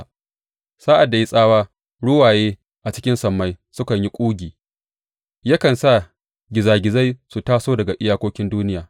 Sa’ad da ya yi tsawa, ruwaye a cikin sammai sukan yi ƙugi; yakan sa gizagizai su taso daga iyakokin duniya.